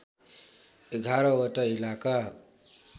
११ वटा इलाका